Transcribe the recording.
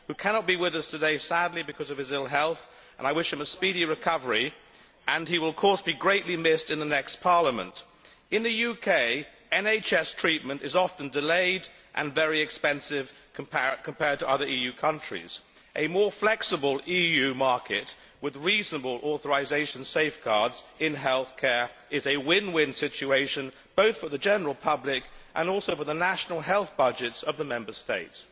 He cannot be with us today, sadly, because of his ill health, and I wish him a speedy recovery, and he will, of course, be greatly missed in the next Parliament. In the UK, NHS treatment is often delayed and very expensive compared with other EU countries. A more flexible EU market, with reasonable authorisation safeguards in health care, is a win win situation both for the general public and also for the national health budgets of the Member States.